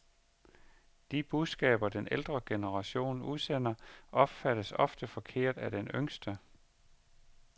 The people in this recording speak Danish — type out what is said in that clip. De budskaber den ældre generation udsender, opfattes ofte forkert af den yngste.